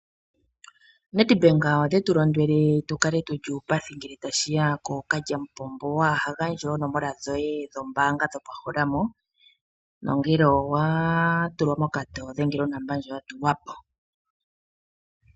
Nedbank otetu londodha tu kale tu li uupathi ngele tashi ya pookalyamupombo, waa ha gandje oonomola dhoye dhombaanga dhomeholamo, nongele owa tulwa mokatoyo dhengela onomola ndjoka ya tulwa po.